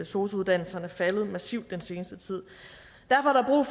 sosu uddannelserne faldet massivt den seneste tid derfor er